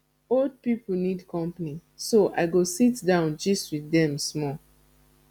old people need company so i go sit down gist with them small